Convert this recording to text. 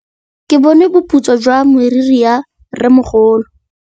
Ke bone boputswa jwa meriri ya rrêmogolo.